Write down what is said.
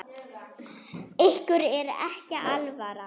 Ykkur er ekki alvara!